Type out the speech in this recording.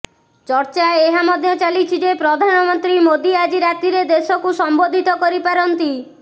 ଚର୍ଚ୍ଚା ଏହା ମଧ୍ୟ ଚାଲିଛି ଯେ ପ୍ରଧାନମନ୍ତ୍ରୀ ମୋଦୀ ଆଜି ରାତିରେ ଦେଶକୁ ସମ୍ବୋଧିତ କରି ପାରନ୍ତି